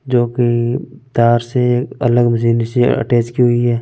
जो की तार से अलग जेन स अटैच की हुई है।